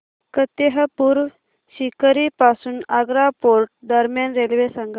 फतेहपुर सीकरी पासून आग्रा फोर्ट दरम्यान रेल्वे सांगा